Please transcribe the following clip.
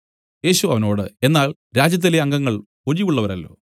യേശു അവനോട് എന്നാൽ രാജ്യത്തിലെ അംഗങ്ങൾ ഒഴിവുള്ളവരല്ലോ